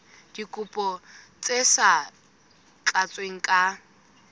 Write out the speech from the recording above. dikopo tse sa tlatswang ka